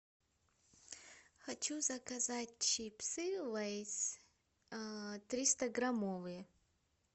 хочу заказать чипсы лейс триста граммовые